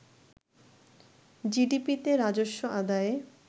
জিডিপিতে রাজস্ব আদায়ে